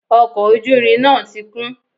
Ọkọ̀ ojú irin náà ti kún